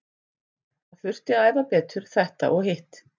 Það þurfti að æfa betur þetta og hitt.